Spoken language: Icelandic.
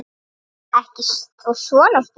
Ekki þó svona stutt.